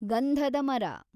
ಗಂಧದ ಮರ